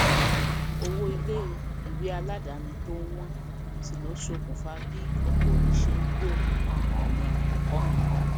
owó ilé ìwé aládàáni tó ń wọn si ló sokùnfa bí ọpọ òbí ti ṣe ń gbèrò ọnà ẹkọ mìíràn